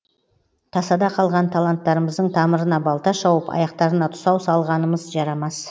тасада қалған таланттарымыздың тамырына балта шауып аяқтарына тұсау салғанымыз жарамас